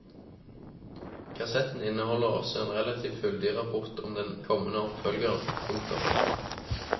Kassetten inneholder også en relativt fyldig rapport om den kommende oppfølgeren. punktum